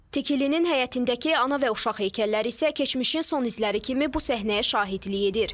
Tikilinin həyətindəki ana və uşaq heykəlləri isə keçmişin son izləri kimi bu səhnəyə şahidlik edir.